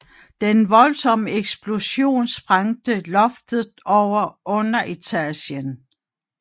Den voldsomme eksplosion sprængte loftet over underetagen